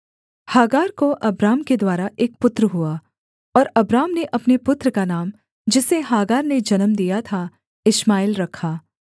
Hagar को Abram के द्वारा एक पुत्र हुआ और अब्राम ने अपने पुत्र का नाम जिसे हागार ने जन्म दिया था इश्माएल रखा